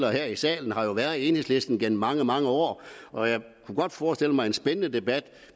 her i salen har jo været enhedslisten gennem mange mange år og jeg kunne godt forestille mig en spændende debat